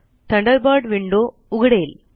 Thunderbird window उघडेल